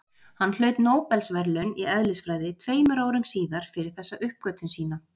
Hann hlaut Nóbelsverðlaun í eðlisfræði tveimur árum síðar fyrir þessa uppgötvun sína.